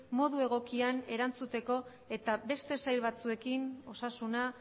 modu egokian erantzuteko eta beste sail batzuekin osasuna